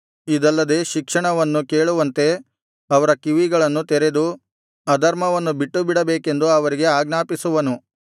ಇದಲ್ಲದೆ ಶಿಕ್ಷಣವನ್ನು ಕೇಳುವಂತೆ ಅವರ ಕಿವಿಗಳನ್ನು ತೆರೆದು ಅಧರ್ಮವನ್ನು ಬಿಟ್ಟುಬಿಡಬೇಕೆಂದು ಅವರಿಗೆ ಆಜ್ಞಾಪಿಸುವನು